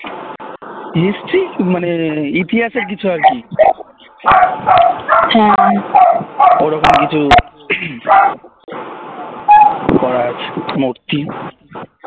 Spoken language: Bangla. history মানে ইতিহাসের কিছু আরকি ওরকম কিছু করা আছে মূর্তি